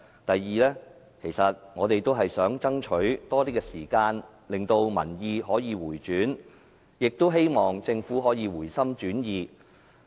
第二，其實我們也是想爭取多些時間，令民意可以回轉，亦希望政府可以回心轉意。